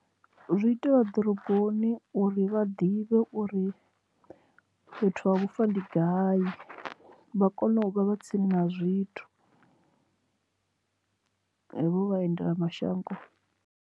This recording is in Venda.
Zwi itea ḓoroboni uri vha ḓivhe uri fhethu ha vhufa ndi gai vha kone u vha vha tsini na zwithu hevho vhaendela mashango.